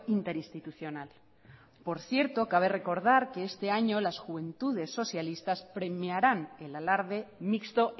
interinstitucional por cierto cabe recordar que este año las juventudes socialistas premiarán el alarde mixto